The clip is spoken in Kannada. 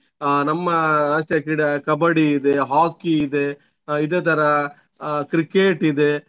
ಅಹ್ ನಮ್ಮ ರಾಷ್ಟ್ರೀಯ ಕ್ರೀಡೆ Kabbadi ಇದೆ Hockey ಇದೆ ಆಹ್ ಇದೇತರ ಆಹ್ Cricket ಇದೆ.